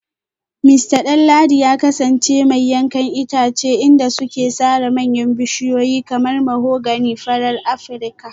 Mista Danladi ya kasance mai yankan itace inda suke sare manyan bishiyoyi kamar mahogany farar Afirka